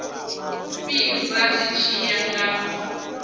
fhira zwi tshi ya nga